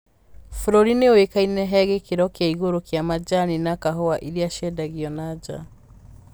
Bũrũri nĩoĩkainĩ he gĩkĩro kĩa igũrũ kĩa manjani na kahũa iria ciendagio nanja